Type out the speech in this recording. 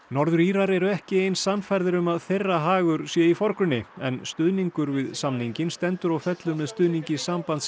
norður Írar eru ekki eins sannfærðir um að þeirra hagur sé í forgrunni stuðningur við samninginn stendur og fellur með stuðningi